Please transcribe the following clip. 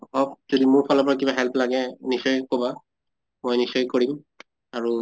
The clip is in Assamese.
অব মোৰ ফালৰ পৰা কিবা help লাগে নিশ্চয় কʼবা। মই নিশ্চয় কৰিম আৰু